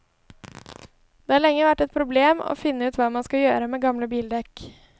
Det har lenge vært et problem å finne ut hva man skal gjøre med gamle bildekk.